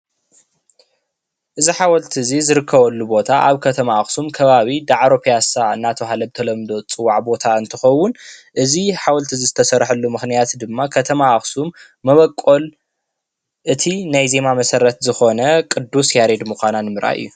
እዚ ሓወልቲ እዚ ዝርከበሉ ቦታ ኣብ ከተማ ኣክሱም ከባቢ ዳዕሮ ፒያሳ እንዳተባሃለ ብተለምዶ ዝፅዋዕ ቦታ እንትከውን እዚ ሓወልቲ እዚ ዝተሰርሐሉ ምክንያት ድማ ከተማ ኣክሱም መበቆል እቲ ናይ ዜማ መሰረት ዝኮነ ቅዱስ ያሬድ ንምኳና ንምርኣይ እዩ፡፡